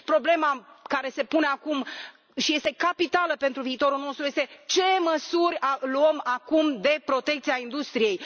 Problema care se pune acum, și este capitală pentru viitorul nostru, este ce măsuri luăm acum de protecție a industriei?.